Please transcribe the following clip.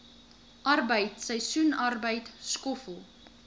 arbeid seisoensarbeid skoffel